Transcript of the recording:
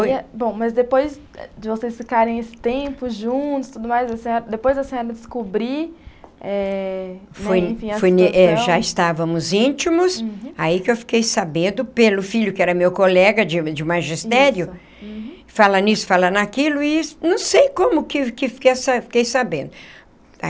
Aí, bom, mas depois de vocês ficarem esse tempo juntos e tudo mais, depois da senhora descobrir eh, enfim, a situação... Já estávamos íntimos, aí que eu fiquei sabendo pelo filho, que era meu colega de de magistério, fala nisso, fala naquilo, e não sei como que que eu fiquei fiquei sabendo.